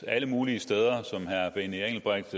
alle mulige steder som herre benny engelbrecht